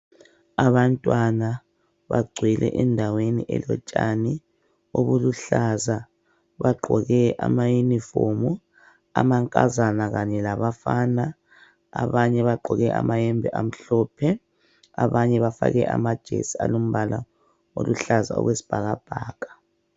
Abantwana bagcwele endaweni elotshani obuluhlaza, bagqoke amayunifomu amankazana kanye labafana, abanye bagqoke amayembe amhlophe abanye bafake amajesi alombala oluhlaza okwesibhakabhaka.